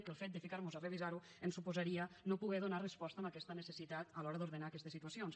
que el fet de ficar mos a revisar ho ens suposaria no poder donar resposta a aquesta necessitat a l’hora d’ordenar aquestes situacions